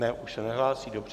Ne, už se nehlásí, dobře.